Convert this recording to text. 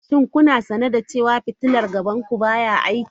Shin kuna sane da cewa fitilar gaban ku baya aiki?